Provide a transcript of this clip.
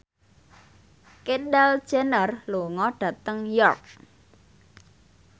Kendall Jenner lunga dhateng York